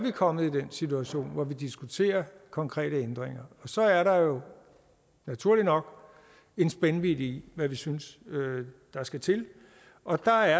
kommet i den situation hvor vi diskuterer konkrete ændringer så er der jo naturligt nok en spændvidde i hvad vi synes der skal til og der